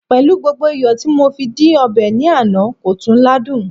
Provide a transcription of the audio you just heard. pẹlú gbogbo iyo ti mo fi di obe ni Ana, ko tun ladun